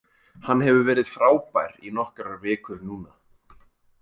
Hann hefur verið frábær í nokkrar vikur núna.